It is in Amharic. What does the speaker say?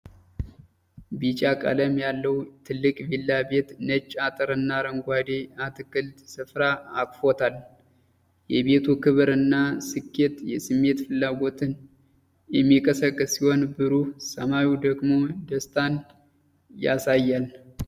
ቢጫ ቀለም ያለው ትልቅ ቪላ ቤት ነጭ አጥርና አረንጓዴ የአትክልት ስፍራ አቅፎታል። የቤቱ ክብር እና ስኬት የስሜት ፍላጎትን የሚቀሰቅስ ሲሆን፣ ብሩህ ሰማዩ ደግሞ ደስታን ያሳያል።